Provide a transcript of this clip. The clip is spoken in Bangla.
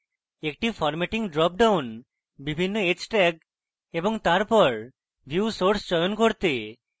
একটি formatting drop down বিভিন্ন h tags এবং তারপর view source চয়ন করতে